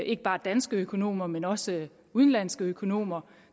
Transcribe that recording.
ikke bare danske økonomer men også udenlandske økonomer